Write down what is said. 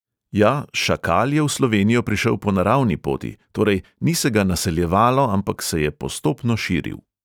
Ja, šakal je v slovenijo prišel po naravni poti, torej, ni se ga naseljevalo, ampak se je postopno širil.